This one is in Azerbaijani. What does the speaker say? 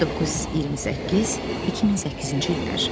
1928-2008-ci illər.